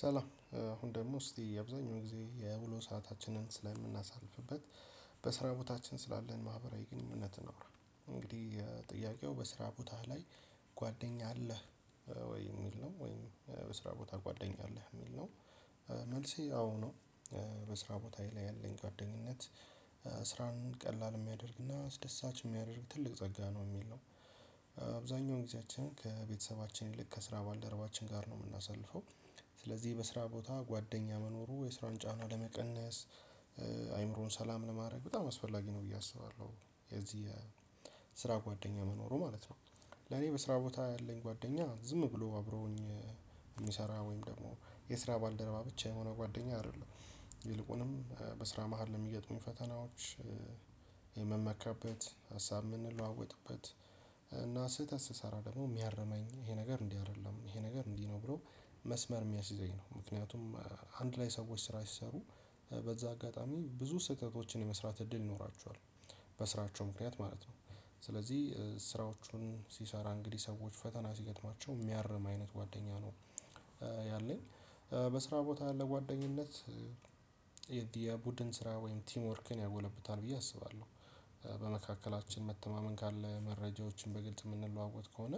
ሰላም አሁን ደግሞ እስቲ የአብዛኛው ጊዜ የውሎ ሰአታችንን ስለምናሳልፍበት በስራ ቦታችን ስላለን ማህበራዊ ግንኙነት አውራ። እንግዲህ ጥያቄው በስራ ቦታህ ላይ ጓደኛ አለህ ወይ? የሚል ነው ወይ በስራ ቦታ ጓደኛ አለህ? የሚል ነው። መልሴ አዎ ነው። በስራ ቦታዬ ላይ ያለኝ ጓደኝነት ስራን ቀላል የሚያደርግና አስደሳች የሚያደርግ ትልቅ ጸጋ ነው የሚል ነው። አብዛኛውን ጊዜያችን ከቤተሰባችን ይልቅ ከስራ ባልደረባችን ጋር ነው የምናሳልፈው። ስለዚህ በስራ ቦታ ጓደኛ መኖሩ የስራን ጫና ለመቀነስ አይምሮን ሰላም ለማድረግ በጣም አስፈላጊ ነው ብዬ አስባለሁ። የዚህ የስራ ጓደኛ መኖሩ ማለት ነው። ለኔ በስራ ቦታ ያለኝ ጓደኛ ዝም ብሎ አብረውኝ የሚሰራ ወይም ደግሞ የስራ ባልደረባ ብቻ የሆነ ጓደኛ አይደለም። ይልቁንም በስራ መሃል ለሚገጥሙኝ ፈተናዎች የምመካበት፣ ሀሳብ የምንለዋወጥበት፣ ስህተት ስሰራ ደግሞ የሚያርመኝ፣ ይሄ ነገር እንዲህ አይደለም፣ ይሄ ነገር እንዲህ ነው ብሎ መስመር የሚያስይዘኝ ነው። ምክንያቱም አንድ ላይ ሰዎች ስራ ሲሰሩ በዛ አጋጣሚ ብዙ ስህተቶችን የመስራት እድል ይኖራቸዋል በስራቸው ምክንያት ማለት ነው። ስለዚህ ስራዎቹን ሲሰራ እንግዲህ ሰዎች ፈተና ሲገጥማቸው የሚያርም አይነት ጓደኛ ነው ያለኝ። በስራ ቦታ ያለ ጓደኝነት የቡድን ስራ ወይም ቲም ወርክን ያጎለብታል ብዬ አስባለሁ። በመካከላችን መተማመን ካለ፣ መረጃዎችን በግልጽ የምንለዋወጥ ከሆነ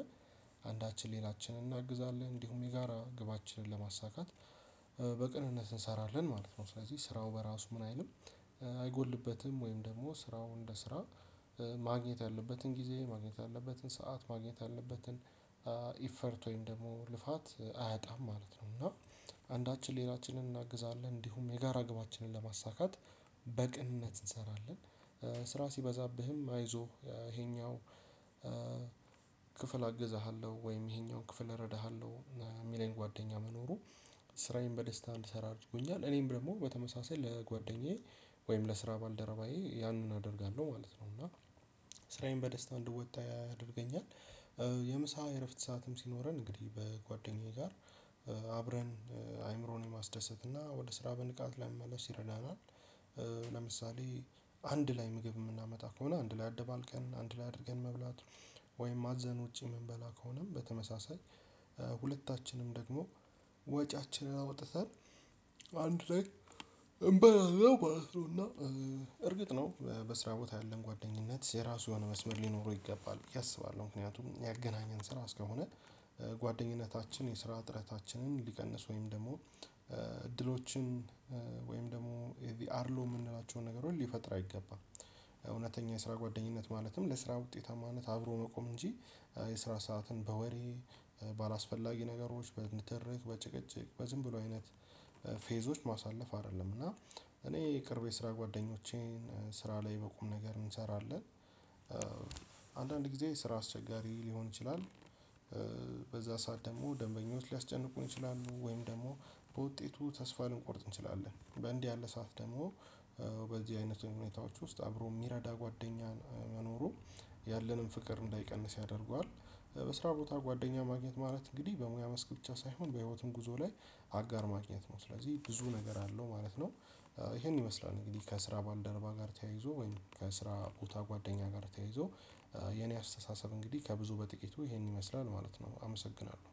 አንዳችን ሌላችንን እናግዛለን፣ እንዲሁም የጋራ ግባችንን ለማሳካት በቅንነት እንሰራለን ማለት ነው። ስለዚህ ስራው በራሱ ምን አይልም አይጎልበትም ወይም ደግሞ ስራው እንደ ስራ ማግኘት ያለበትን ጊዜ፣ ማግኘት ያለበትን ሰዓት፣ ማግኘት ያለበትን ኢፈርት፣ ወይም ደግሞ ልፋት አያጣም ማለት ነው። እና አንዳችን ሌላችንን እናግዛለን፣ እንዲሁም የጋራ ግባችንን ለማሳካት በቅንነት እንሰራለን። ስራ ሲበዛብህም አይዞህ ይሄኛው ክፍል አግዝሃለሁ ወይም ይሄኛውን ክፍል እረዳሃለሁ የሚለኝ ጓደኛ መኖሩ ስራዬን በደስታ እንድሰራ አድርጎኛል። እኔም ደግሞ በተመሳሳይ ለጓደኛዬ ወይም ለስራ ባልደረባዬ ያንን አደርጋለሁ ማለት ነው። እና ስራዬን በደስታ እንድወጣ ያደርገኛል። የምሳ እረፍት ሰዓትም ሲኖረን እንግዲህ በጓደኛዬ ጋር አብረን አይምሮን የማስደሰት እና ወደ ስራ በንቃት ለመመለስ ይረዳናል። ለምሳሌ አንድ ላይ ምግብ የምናመጣ ከሆነ አንድ ላይ አደባልቀን አንድ ላይ አድርገን መብላት ወይም አዘን ውጪ የምንበላ ከሆነም በተመሳሳይ ሁለታችንም ደግሞ ወጪያችን አውጥተን አንድ ላይ እንበላለው ማለት ነው። እና እርግጥ ነው በስራ ቦታ ያለን ጓደኝነት የራሱ የሆነ መስመር ሊኖረው ይገባል ብየ አስባለሁ። ምክንያቱም ያገናኘን ስራ ስለሆነ ጓደኝነታችን የስራ ጥረታችንን ሊቀንስ ወይም ደግሞ እድሎችን ወይም ደግሞ የዚህ አድሎ የምንላቸው ነገሮች ሊፈጥር አይገባም እውነተኛ የስራ ጓደኝነት ማለትም ለስራ ውጤታማነት አብሮ መቆም እንጂ የስራ ሰዓትን በወሬ፣ ባላስፈላጊ ነገሮች፣ በንትርክ፣ በጭቅጭቅ፣ በዝም ብሎ አይነት ፌዞች ማሳለፍ አይደለም። እና እኔ የቅርቤ ስራ ጓደኞቼን ስራ ላይ በቁም ነገር እንሰራለን። አንዳንድ ጊዜ ስራ አስቸጋሪ ሊሆን ይችላል። በዛ ሰዓት ደግሞ ደንበኞች ሊያስጨንቁን ይችላሉ ወይም ደግሞ በውጤቱ ተስፋ ልንቆርጥ እንችላለን። በእንዲህ ያለ ሰዓት ደግሞ በዚህ አይነት ሁኔታዎች ውስጥ አብሮ የሚረዳ ጓደኛን መኖሩ ያለንን ፍቅር እንዳይቀንስ ያደርገዋል። በስራ ቦታ ጓደኛ ማግኘት ማለት እንግዲህ በሙያ መስክ ብቻ ሳይሆን በህይወትም ጉዞ ላይ አጋር ማግኘት ነው። ስለዚህ ብዙ ነገር አለው ማለት ነው። ይሄን ይመስላል እንግዲህ ከስራ ባልደረባ ጋር ተያይዞ ወይም ከስራ ቦታ ጓደኛ ጋር ተያይዞ የኔ አስተሳሰብ እንግዲህ ከብዙ በጥቂቱ ይሄን ይመስላል ማለት ነው። አመሰግናለሁ።